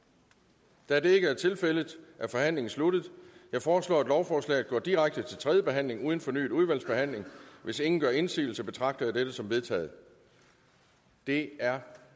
der er det ikke er tilfældet er forhandlingen sluttet jeg foreslår at lovforslaget går direkte til tredje behandling uden fornyet udvalgsbehandling hvis ingen gør indsigelse betragter jeg dette som vedtaget det er